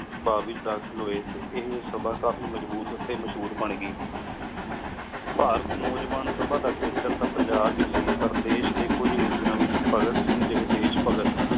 ਸਭਾ ਲੈ ਦਾਖਿਲ ਹੋਏ ਟੀ ਇਹ ਸਭਾ ਕਾਫੀ ਮਜਬੂਤ ਟੀ ਮਾਸ਼ੋਰ ਬਣ ਗਈ ਭਾਰਤ ਨੋਜਵਾਨ ਸਭਾ ਦਾ ਖੇਤਰ ਟੀ ਪੰਜਾਬ ਏ ਸੀ ਪਰ ਦੇਸ਼ ਡੀ ਕੁਝ ਹਿਸ੍ਸ੍ਯਾ ਏਚ ਭਾਘਾਤ ਸਿੰਘ ਜੇਹੀ ਦੇਸ਼ ਭਾਘਾਤ